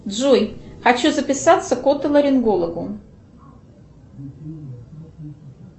джой хочу записаться к отолорингологу